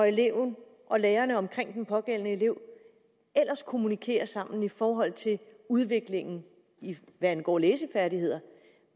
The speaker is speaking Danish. eleverne og lærerne omkring den pågældende elev ellers kommunikere sammen i forhold til udviklingen hvad angår læsefærdigheder